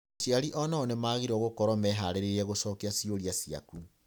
Aciari o nao nĩ magĩrĩirũo gũkorũo mehaarĩirie gũcokia ciũria ciaku.